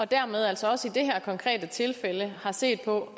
dermed altså også i det her konkrete tilfælde har set på